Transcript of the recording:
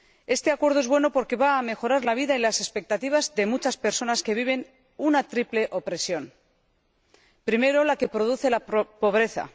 Este Acuerdo es bueno porque va a mejorar la vida y las expectativas de muchas personas que viven una triple opresión primero, la que produce la pobreza.